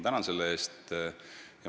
Tänan selle eest!